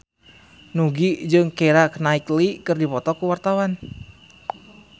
Nugie jeung Keira Knightley keur dipoto ku wartawan